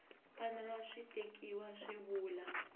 fanele swi tekiwa swi vula